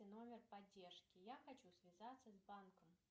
номер поддержки я хочу связаться с банком